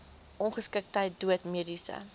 ongeskiktheid dood mediese